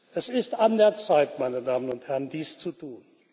Es ist an der Zeit, meine Damen und Herren, dies zu tun.